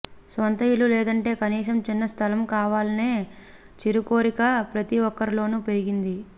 స్వంత ఇల్లు లేదంటే కనీసం చిన్న స్థలం కావాలనే చిరుకోరిక ప్రతి ఒక్కరిలోనూ పెరిగింది